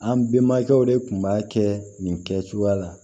An bɛnbakɛw de tun b'a kɛ nin kɛcogoya la